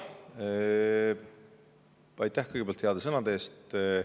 Aitäh kõigepealt heade sõnade eest!